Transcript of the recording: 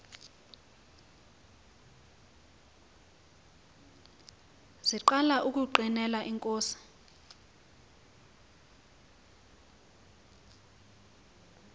siqala ukungqinela inkosi